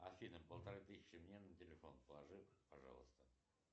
афина полторы тысячи мне на телефон положи пожалуйста